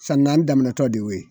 San naani daminɛtɔ de ye.